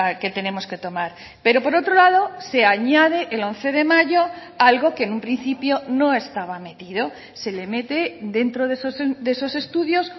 que tenemos que tomar pero por otro lado se añade el once de mayo algo que en un principio no estaba metido se le mete dentro de esos estudios